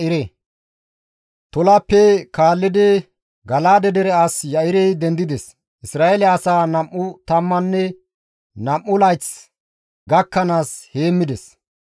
Tolappe kaallidi Gala7aade dere as Ya7irey dendides; Isra7eele asaa nam7u tammanne nam7u layth gakkanaas heemmides.